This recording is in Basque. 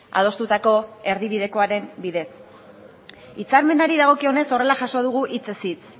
adostutako erdibidekoaren bidez hitzarmenari dagokionez horrela jaso dugu hitzez hitz